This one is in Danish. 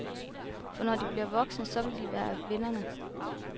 For når de bliver voksne, så vil de være vindere.